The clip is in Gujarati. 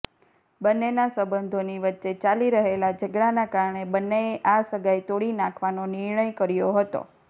બંન્નેના સંબંધોની વચ્ચે ચાલી રહેલા ઝઘડાના કારણે બન્નેએ આ સગાઈ તોડી નાખવાનો નિર્ણય કર્યો હતો